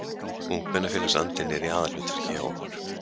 Ungmennafélagsandinn er í aðalhlutverki hjá okkur